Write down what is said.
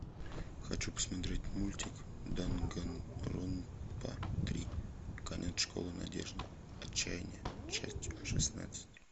хочу посмотреть мультик данганронпа три конец школы надежды отчаяние часть шестнадцать